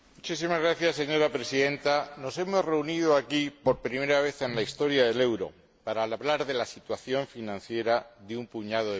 Señora Presidenta, nos hemos reunido aquí por primera vez en la historia del euro para hablar de la situación financiera de un puñado de países.